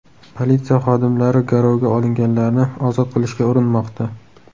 Politsiya xodimlari garovga olinganlarni ozod qilishga urinmoqda.